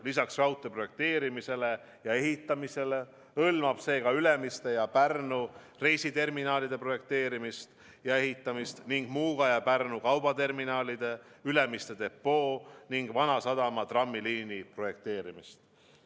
Lisaks raudtee projekteerimisele ja ehitamisele hõlmab see ka Ülemiste ja Pärnu reisiterminalide projekteerimist ja ehitamist ning Muuga ja Pärnu kaubaterminali, Ülemiste depoo ning Vanasadama trammiliini projekteerimist.